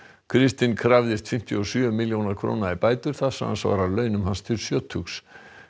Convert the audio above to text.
kristinn krafðist fimmtíu og sjö milljóna króna í bætur það samsvarar launum hans til sjötugs